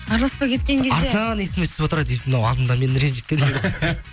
араласпай кеткен кезде артынан есіме түсіп отырады эй мынау мені алдында ренжіткен деп